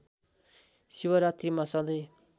शिवरात्रीमा सँधै